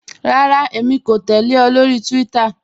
Rárá, èmi kò tẹ̀lẹ̀ ọ lórí Twitter.